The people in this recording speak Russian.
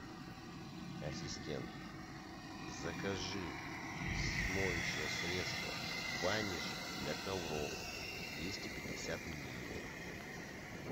ассистент закажи моющее средство ваниш для ковров двести пятьдесят миллилитров